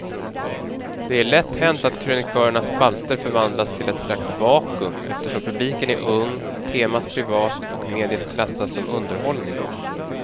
Det är lätt hänt att krönikörernas spalter förvandlas till ett slags vakuum eftersom publiken är ung, temat privat och mediet klassas som underhållning.